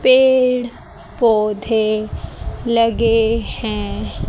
पेड़ पौधे लगे हैं।